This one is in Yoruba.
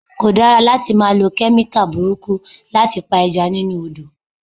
Kò dára láti máa lọ Kẹ́míkà burúkú láti pa Ẹja nínú Odò.